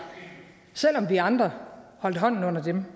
selv om vi andre holdt hånden under dem